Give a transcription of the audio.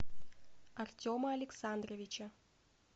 артема александровича